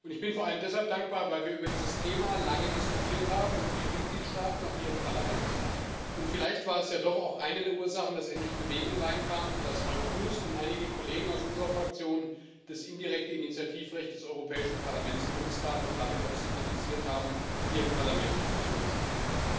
Ich bin vor allem deshalb dankbar, weil wir über dieses Thema in vielen Mitgliedstaaten, auch hier im Parlament lange diskutiert haben. Vielleicht war es ja doch auch eine der Ursachen, dass endlich Bewegung rein kam, dass Frank Proust und einige Kollegen aus unserer Fraktion das indirekte Initiativrecht des Europäischen Parlaments genutzt haben und damit auch signalisiert haben, hier im Parlament gibt es Unterstützung.